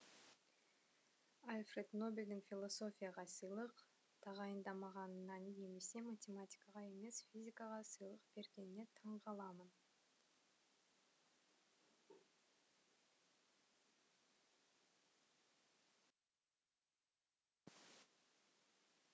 альфред нобельдің философияға сыйлық тағайындамағанына немесе математикаға емес физикаға сыйлық бергеніне таңғаламын